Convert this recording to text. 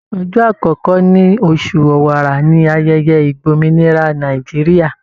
Ọjọ́ àkọ́kọ́ ní oṣù Ọ̀wàrà ní ayẹyẹ ìgbòmìnira Nàìjíríà.